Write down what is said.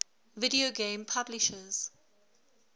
video game publishers